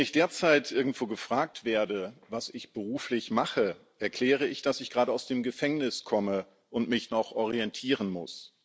Wenn ich derzeit irgendwo gefragt werde, was ich beruflich mache, erkläre ich, dass ich gerade aus dem Gefängnis komme und mich noch orientieren muss.